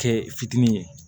Kɛ fitinin ye